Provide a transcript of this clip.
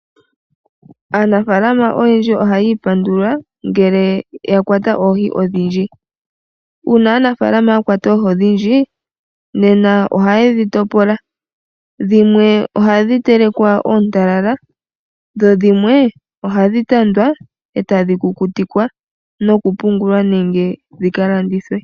Aanafalama oyendji ohaya ipandula ngele ya kwata oohi odhindji. Uuna aanafalama ya kwata oohi odhindji, nena ohaye dhi topola. Dhimwe ohadhi telekwa oontalala, dho dhimwe ohadhi tandwa e tadhi kukutikwa nokupumgulwa nenge dhi ka landithwe.